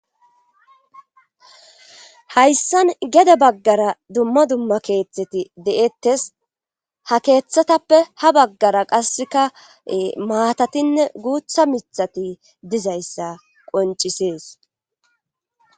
Hayssan geda baggara dumma dumma keeththeti de'ettes ha keeththatappe ha baggara qasseka maatatinne guutha mithati dizayssa qoncisees.